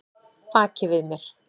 Baki við mér?